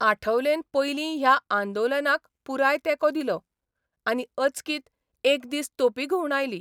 आठवलेन पयलीं ह्या आंदोलनाकपुराय तेंको दिलो, आनी अचकीत एक दीस तोपी घुवंडायली.